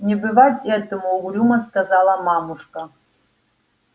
не бывать этому угрюмо сказала мамушка